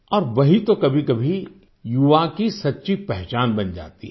अब वही तो कभीकभी युवा की सच्ची पहचान बन जाती है